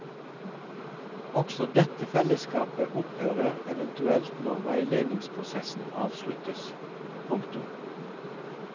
Også dette fellesskapet opphører eventuelt når veiledningsprosessen avsluttes. punktum